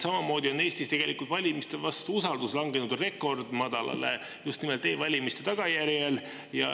Samamoodi on Eestis usaldus valimiste vastu langenud rekordmadalale just nimelt e-valimiste tagajärjel.